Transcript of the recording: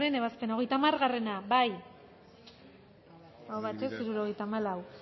ebazpena hogeita hamar bozkatu dezakegu bozketaren emaitza onako izan da hirurogeita hamalau